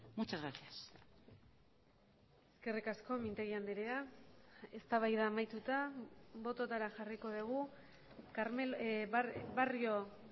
muchas gracias eskerrik asko mintegi andrea eztabaida amaituta bototara jarriko dugu barrio